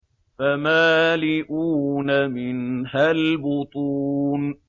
فَمَالِئُونَ مِنْهَا الْبُطُونَ